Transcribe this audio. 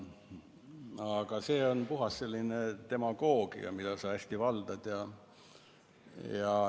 Aga see on puhas demagoogia, mida sa hästi valdad.